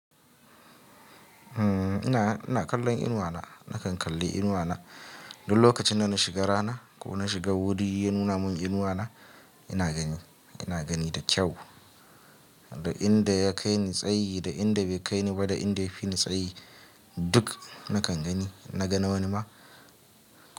Umm, ina, ina kallon inuwa na. Nakan kalli inuwa na. Duk lokacin da na shiga rana ko na shiga wuri ya nuna mun inuwa na, ina gani. Ina gani da kyau. Da inda ya kai ni tsayi, da inda bai kai ni ba, da inda ya fi ni tsayi, duk nakan gani. Na ga wani ma.